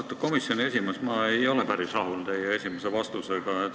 Austatud komisjoni esimees, ma ei ole päris rahul teie esimese vastusega.